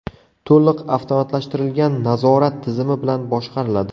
To‘liq avtomatlashtirilgan nazorat tizimi bilan boshqariladi.